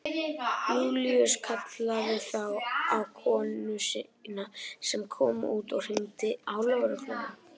Júlíus kallaði þá á konu sína sem kom út og hringdi á lögregluna.